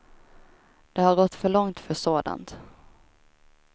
Det har gått för långt för sådant.